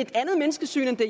et andet menneskesyn end det